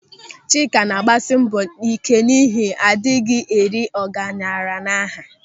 Chika na-agbasị mbọ ị́ké n'ihi na adịghị eri ọgaranya n'aha.